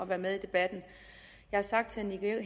være med i debatten jeg har sagt til herre